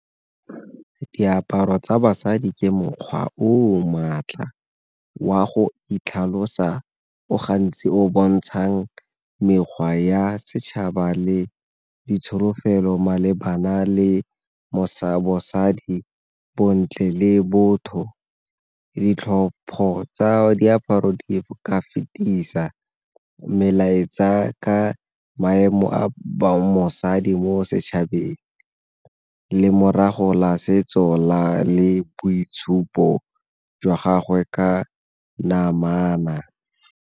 Diaparo tsa basadi ke mokgwa o maatla wa go itlhalosa o gantsi o bontshang mekgwa ya setšhaba le ditsholofelo malebana le bosadi, bontle, le botho. Ditlhopho tsa diaparo di ka fetisa melaetsa ka maemo a mosadi mo setšhabeng, lemorago la setso le boitshupo jwa gagwe ka namana.